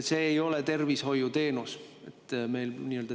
See ei ole tervishoiuteenus.